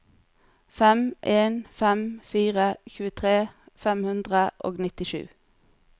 fem en fem fire tjuetre fem hundre og nittisju